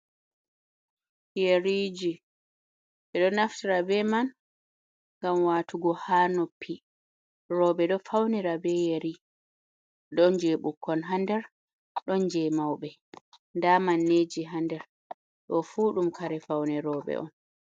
Yeriji be do naftira be man gam watugo ha noppi robe do faunira be yeri don je bukkon hander don je maube da manneji hander do fu dum kare fauni robe on.